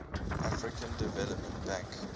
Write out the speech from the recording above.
african development bank